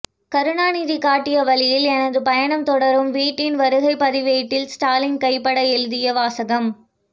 கருணாநிதி காட்டிய வழியில் எனது பயணம் தொடரும் வீட்டின் வருகைப்பதிவேட்டில் ஸ்டாலின் கைப்பட எழுதிய வாசகம்